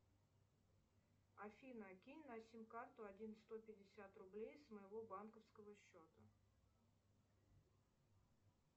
афина кинь на сим карту один сто пятьдесят рублей с моего банковского счета